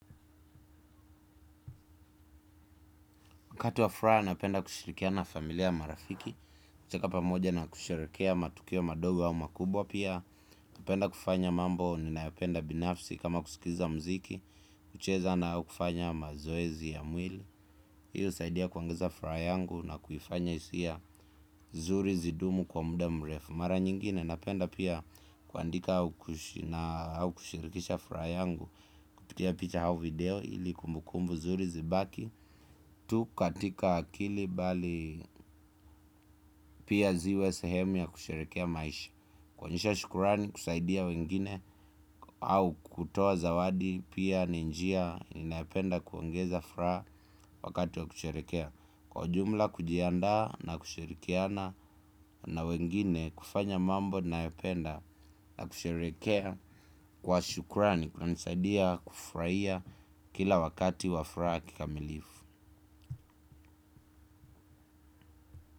Wakati wa furaha napenda kushirikiana na familia marafiki kucheka pamoja na kusherehekea matukio madogo au makubwa pia napenda kufanya mambo ninayopenda binafsi kama kusikiza mziki kucheza au kufanya mazoezi ya mwili hiyo husaidia kuongeza furaha yangu na kufanya hisia nzuri zidumu kwa muda mrefu. Mara nyingine napenda pia kuandika au kushirikisha furaha yangu kupitia picha au video ili kumbukumbu nzuri zibaki tu katika akili bali pia ziwe sehemu ya kusherehekea maisha kuonyesha shukrani kusaidia wengine au kutoa zawadi pia ni njia ninayependa kuongeza furaha wakati wa kusherehekea kwa ujumla kujiandaa na kushirikiana na wengine kufanya mambo ninayependa na kusherehekea kwa shukrani kunanisaidia kufurahia kila wakati wa furaha kikamilifu.